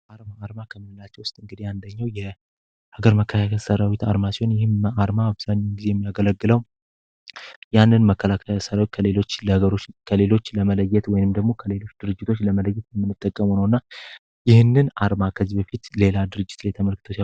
አርማ ከምንላቸው ውስጥ እንግዲ ያንደኛው ሲሆን ሀገር መከላከያ ሰራዊት አርማ ሲሆን ይህም አርማ አብዛኙን ጊዜ የሚያገለግለው ያንን መከላካ ሰራዊት ከሌሎች ለመለየት ወይንም ደግሞ ከሌሎች ድርጅቶች ለመለየት የምንጠቀመ ነው። እና ይህንን አርማ ከዝብ ፊት ሌላ ድርጅትል የተመልክትች።